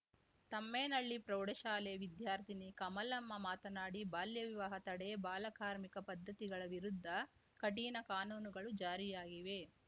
ತಮ್ಮೇನಹಳ್ಳಿ ಪ್ರೌಢಶಾಲೆ ವಿದ್ಯಾರ್ಥಿನಿ ಕಮಲಮ್ಮ ಮಾತನಾಡಿ ಬಾಲ್ಯ ವಿವಾಹ ತಡೆ ಬಾಲ ಕಾರ್ಮಿಕ ಪದ್ಧತಿಗಳ ವಿರುದ್ಧ ಕಠಿಣ ಕಾನೂನುಗಳು ಜಾರಿಯಾಗಿವೆ